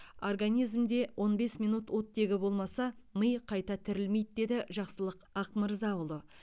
организмде он бес минут оттегі болмаса ми қайта тірілмейді деді жақсылық ақмырзаұлы